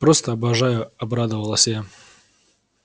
просто обожаю обрадовалась я